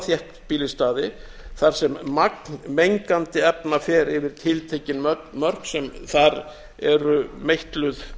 þéttbýlisstaði þar sem magnmengandi efna fer yfir tiltekin mörk sem þar eru meitluð